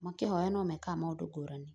makĩhoya no mekaga maũndũ ngũrani